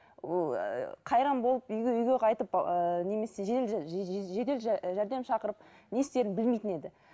ыыы ол қайран болып үйге үйге қайтып ыыы немесе жедел жәрдем шақырып не істерін білмейтін еді